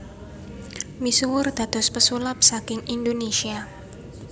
Misuwur dados pesulap saking Indonésia